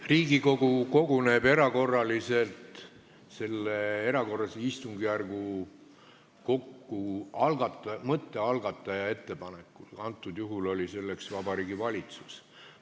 Riigikogu koguneb erakorraliselt selle erakorralise istungjärgu mõtte algataja ettepanekul, praegusel juhul oli selleks Vabariigi Valitsus.